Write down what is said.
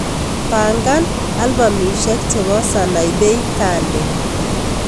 Pangan albamisiek chebo Sanaipei Tande